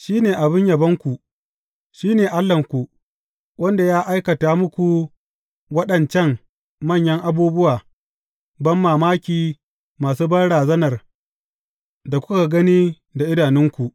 Shi ne abin yabonku; shi ne Allahnku, wanda ya aikata muku waɗancan manya abubuwa banmamaki masu banrazanar da kuka gani da idanunku.